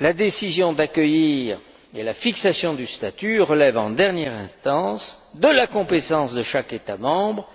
La décision d'accueillir et la fixation du statut relèvent en dernière instance de la compétence de chaque État membre.